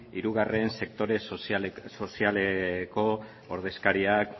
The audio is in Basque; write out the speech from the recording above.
hirugarren sektore sozialeko ordezkariak